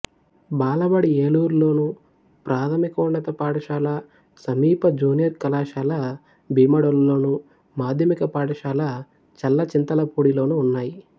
బాలబడి ఏలూరులోను ప్రాథమికోన్నత పాఠశాల సమీప జూనియర్ కళాశాల భీమడోలులోను మాధ్యమిక పాఠశాల చల్లచింతలపూడిలోనూ ఉన్నాయి